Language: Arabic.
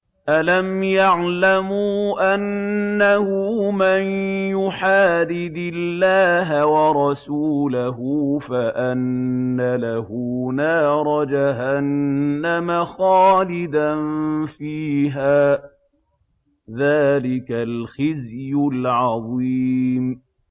أَلَمْ يَعْلَمُوا أَنَّهُ مَن يُحَادِدِ اللَّهَ وَرَسُولَهُ فَأَنَّ لَهُ نَارَ جَهَنَّمَ خَالِدًا فِيهَا ۚ ذَٰلِكَ الْخِزْيُ الْعَظِيمُ